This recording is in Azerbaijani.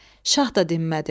Şah da dinmədi.